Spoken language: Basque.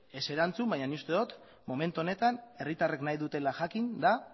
ez erantzun baina nik uste dot momentu honetan herritarrek nahi dutena jakin da